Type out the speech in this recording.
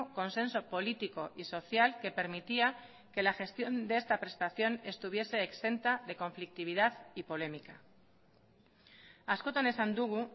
consenso político y social que permitía que la gestión de esta prestación estuviese exenta de conflictividad y polémica askotan esan dugu